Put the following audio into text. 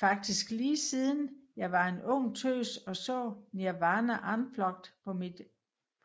Faktisk lige siden jeg var en ung tøs og så Nirvana Unplugged